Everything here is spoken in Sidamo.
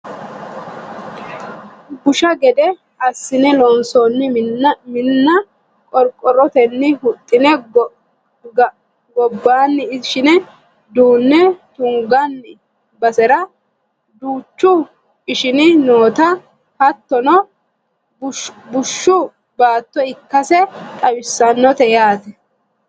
busha gede assine loonsoonni minna qorqorrotenni huxxine gaobbaanni ishine duunne tunganni basera duuchu ishini nootanna hattono bushshu baatto ikkase xawissannote yaate